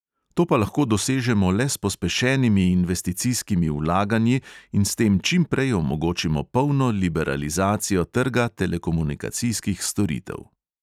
To pa lahko dosežemo le s pospešenimi investicijskimi vlaganji in s tem čimprej omogočimo polno liberalizacijo trga telekomunikacijskih storitev.